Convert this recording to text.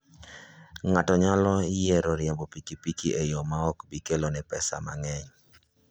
Ng'ato nyalo yiero riembo pikipiki e yo ma ok bi kelone pesa mang'eny.